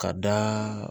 Ka da